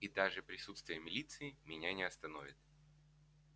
и даже присутствие милиции меня не остановит